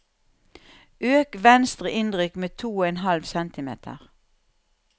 Øk venstre innrykk med to og en halv centimeter